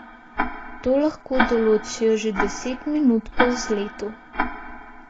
To lahko določijo že deset minut po vzletu.